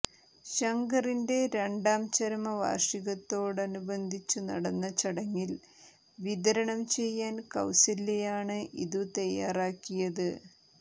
ശങ്കറിന്റെ രണ്ടാം ചരമവാർഷികത്തോടനബന്ധിച്ചു നടന്ന ചടങ്ങിൽ വിതരണം ചെയ്യാൻ കൌസല്യയാണ് ഇതു തയാറാക്കിയത്